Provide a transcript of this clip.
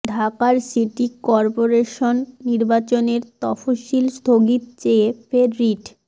ঢাকার city corporation নির্বাচনের তফসিল স্থগিত চেয়ে ফের রিট